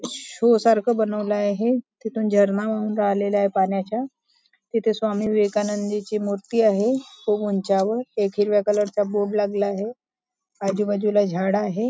Show सारखं बनवला आहे तिथून झरणा वाहून राहिलेला आहे पाण्याचा तिथे स्वामी विवेकानंद ची मूर्ती आहे खूप उंचावर एक हिरव्या कलरचा बोर्ड लागलेला आहे आजूबाजूला झाड आहे.